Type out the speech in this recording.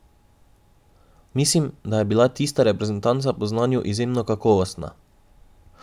Mislim, da je bila tista reprezentanca po znanju izjemno kakovostna.